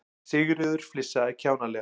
Sigríður flissaði kjánalega.